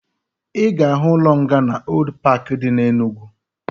Ị ga-ahụ ụlọ nga na Old paaki dị na Enugwu